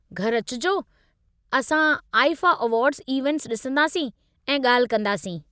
घर अचिजो ऐं असां आईफ़ा अवार्ड्स इवेंट्स डि॒संदासीं ऐं ॻाल्हि कंदासीं।